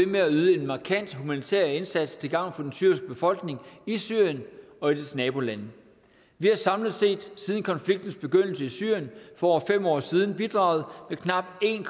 med at yde en markant humanitær indsats til gavn for den syriske befolkning i syrien og i dets nabolande vi har samlet set siden konfliktens begyndelse i syrien for over fem år siden bidraget med knapt en